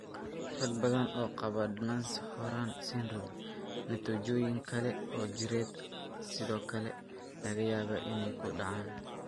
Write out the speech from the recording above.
Rag badan oo qaba Nance Horan syndrome, natiijooyin kale oo jireed ayaa sidoo kale laga yaabaa inay ku dhacaan.